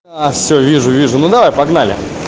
а всё вижу вижу ну давай погнали